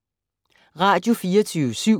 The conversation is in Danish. Radio24syv